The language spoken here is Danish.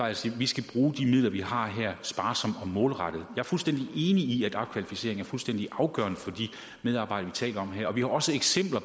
jeg siger at vi skal bruge de midler vi har her sparsomt og målrettet jeg er fuldstændig enig i at opkvalificering er fuldstændig afgørende for de medarbejdere vi taler om her og vi har også eksempler